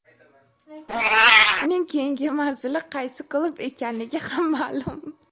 Uning keyingi manzili qaysi klub ekanligi ham ma’lum;.